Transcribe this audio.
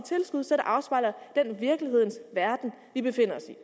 tilskud så det afspejler den virkelighedens verden vi befinder os i